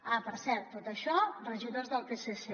ah per cert tot això regidors del psc